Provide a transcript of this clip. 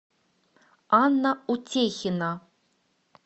анна утехина